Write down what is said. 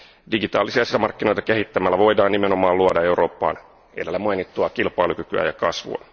Digitaalisia sisämarkkinoita kehittämällä voidaan nimenomaan luoda Eurooppaan edellä mainittua kilpailukykyä ja kasvua.